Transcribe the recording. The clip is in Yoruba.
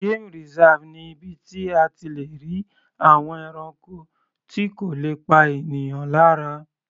Game reserve ni ibi tí a ti le rí àwọn ẹranko tí kò le pa ènìyàn lára.